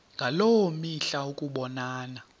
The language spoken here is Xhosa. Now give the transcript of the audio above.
ngaloo mihla ukubonana